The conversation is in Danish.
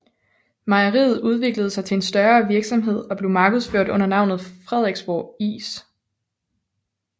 Mejeriet udviklede sig til en større virksomhed og blev markedsført under navnet Frederiksborg Is